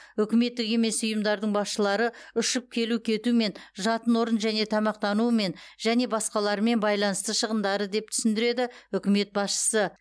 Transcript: үкіметтік емес ұйымдардың басшылары ұшып келу кетумен жатын орын және тамақтануымен және басқаларымен байланысты шығындары деп түсіндіреді үкімет басшысы